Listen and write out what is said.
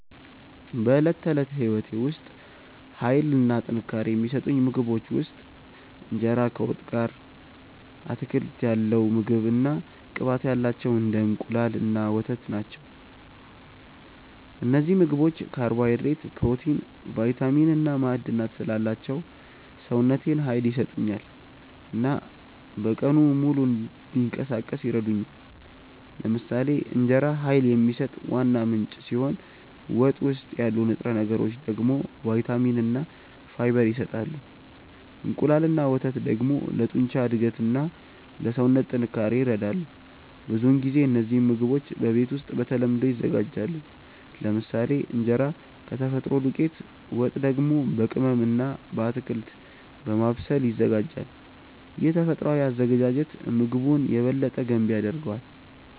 በዕለት ተዕለት ሕይወቴ ውስጥ ኃይል እና ጥንካሬ የሚሰጡኝ ምግቦች ውስጥ እንጀራ ከወጥ ጋር፣ አትክልት ያለው ምግብ እና ቅባት ያላቸው እንደ እንቁላል እና ወተት ናቸው። እነዚህ ምግቦች ካርቦሃይድሬት፣ ፕሮቲን፣ ቫይታሚን እና ማዕድናት ስላላቸው ሰውነቴን ኃይል ይሰጡኛል እና በቀኑ ሙሉ እንዲንቀሳቀስ ይረዱኛል። ለምሳሌ እንጀራ ኃይል የሚሰጥ ዋና ምንጭ ሲሆን ወጥ ውስጥ ያሉ ንጥረ ነገሮች ደግሞ ቫይታሚን እና ፋይበር ይሰጣሉ። እንቁላል እና ወተት ደግሞ ለጡንቻ እድገት እና ለሰውነት ጥንካሬ ይረዳሉ። ብዙውን ጊዜ እነዚህ ምግቦች በቤት ውስጥ በተለምዶ ይዘጋጃሉ፤ ለምሳሌ እንጀራ ከተፈጥሮ ዱቄት፣ ወጥ ደግሞ በቅመም እና በአትክልት በማብሰል ይዘጋጃል። ይህ ተፈጥሯዊ አዘገጃጀት ምግቡን የበለጠ ገንቢ ያደርገዋል።